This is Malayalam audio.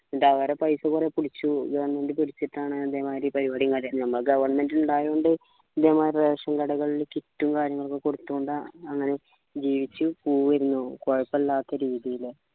അവരെ paisa കൊറെ പിടിച്ചു govt പിടിച്ചിട്ടാണ് ഇതേമാതിരി പരിവാടിയും കാര്യമൊക്കെ നമ്മ govt ഇണ്ടായോണ്ട് ഇതേമാതിരി ration കടകള്ളിൽ kit കാര്യങ്ങളൊക്കെ കൊടുതോണ്ടാണ് ആഹ് അങ്ങനെ ജീവിച്ച് പോയിരുന്നു കൊഴപ്പില്ലാത്ത രീതിയില്